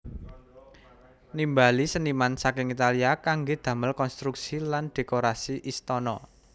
Nimbali seniman saking Italia kanggé damel konstruksi lan dhékorasi istana